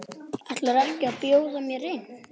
Ætlarðu ekki að bjóða mér inn?